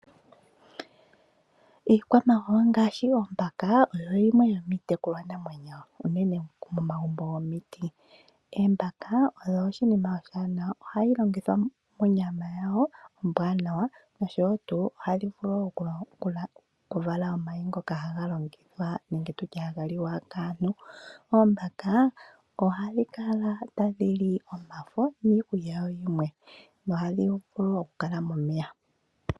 Iikwamawawa ngaashi oombaka oyo yimwe yomiitekulwanamwenyo unene momagumbo gomiti. Oombaka odho oshinima oshiwanawa, ohadhi longithwa monyama yawo ombwanawa, noshowo tuu ohadhi vulu okuvala omayi ngoka haga longithwa nenge tu tye haga liwa kaantu. Oombaka ohadhi kala tadhi li omafo niikulya yawo yimwe, nohadhi vulu okukala momeya.